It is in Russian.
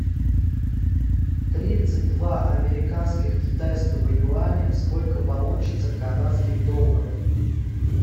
тридцать два американских китайского юаня сколько получится канадских долларов